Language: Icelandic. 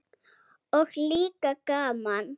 Og líka gaman.